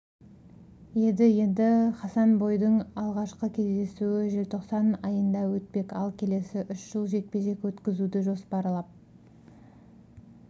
еді енді хасанбойдың алғашқы кездесуі желтоқсан айында өтпек ал келесі үш жыл жекпе-жек өткізуді жоспарап